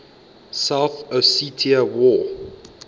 south ossetia war